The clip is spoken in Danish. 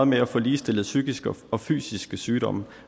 med at få ligestillet psykiske og fysiske sygdomme